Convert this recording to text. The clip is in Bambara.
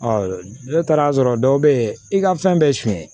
ne taara'a sɔrɔ dɔw bɛ yen i ka fɛn bɛɛ ye suɲɛ